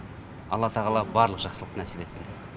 алла тағала барлық жақсылық нәсіп етсін